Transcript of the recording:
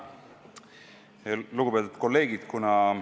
Lugupeetud kolleegid!